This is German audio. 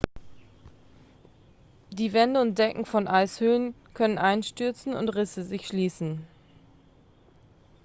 die wände und decken von eishöhlen können einstürzen und risse sich schließen